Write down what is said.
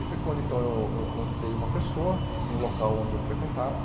E foi quando eu eu eu convidei uma pessoa no local onde eu frequentava.